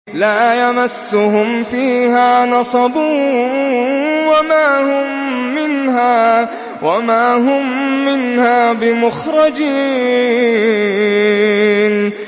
لَا يَمَسُّهُمْ فِيهَا نَصَبٌ وَمَا هُم مِّنْهَا بِمُخْرَجِينَ